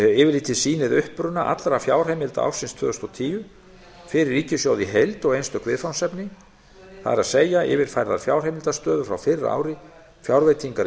yfirlitið sýnir uppruna allra fjárheimilda ársins tvö þúsund og tíu fyrir ríkissjóð í heild og einstök viðfangsefni það er yfirfærðar fjárheimildastöður frá fyrra ári fjárveitingar í